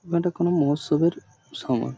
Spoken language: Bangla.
মানে এটা কোনো মৌসুবের সময়।